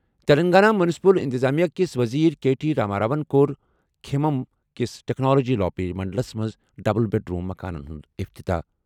Telangana municipal اِنتِظامِیہ کِس ؤزیٖر کے ٹی راما راون کوٚر کھمم کِس ٹیکنلاجی لاپی منڈلس منٛز ڈبل بیڈ روم مکانن ہُنٛد افتتاح ۔